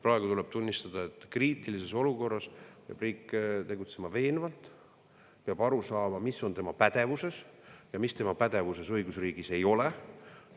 Praegu tuleb tunnistada, et kriitilises olukorras peab riik tegutsema veenvalt, peab aru saama, mis on tema pädevuses ja mis õigusriigis tema pädevuses ei ole.